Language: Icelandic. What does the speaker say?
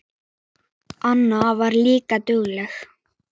Anna var líka dugleg.